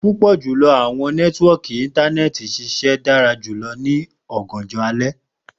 Pupọ julọ awọn nẹtiwọọki Intanẹẹti ṣiṣẹ dara julọ ni ọganjọ alẹ